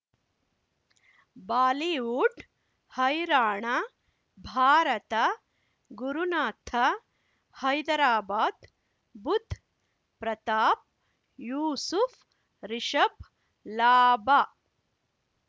Bollywood ಹೈರಾಣ ಭಾರತ ಗುರುನಾಥ ಹೈದರಾಬಾದ್ ಬುಧ್ ಪ್ರತಾಪ್ ಯೂಸುಫ್ ರಿಷಬ್ ಲಾಭ